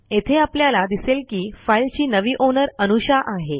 येथे आपल्याला दिसेल की फाईलची नवी ओनर अनुषा आहे